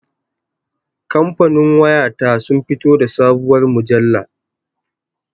Kamfanin waya ta sun fito da sabuwar mujalla